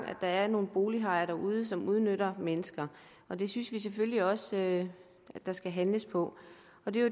at der er nogle bolighajer derude som udnytter mennesker det synes vi selvfølgelig også der skal handles på